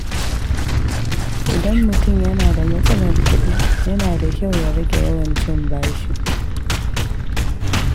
Idan mutum yana da matsalar kuɗi, yana da kyau ya rage yawan cin bashi.